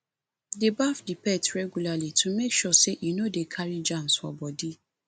dey baff di pet regularly to make sure sey e no dey carry germs for body